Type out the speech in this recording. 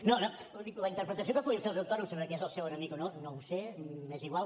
no no vull dir la interpretació que puguin fer els autònoms sobre qui és el seu enemic o no no ho sé m’és igual